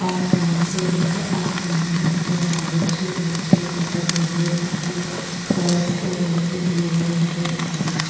आसमान को रंग आसमानी नजर आ रेहो छे निचे सड़क नजर आ री सड़क को रंग भूरो नजर आ रेहो छे।